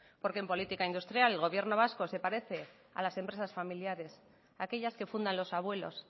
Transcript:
porque en política industrial el gobierno vasco se parece a las empresas familiares aquellas que fundan los abuelos